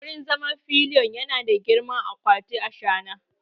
Wurin zama pillion yana da girman akwatin ashana!